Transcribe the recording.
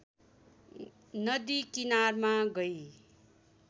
नदी किनारमा गई